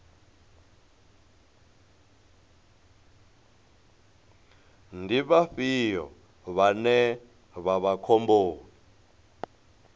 ndi vhafhio vhane vha vha khomboni